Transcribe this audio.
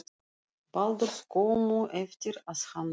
Baldurs skömmu eftir að hann dó.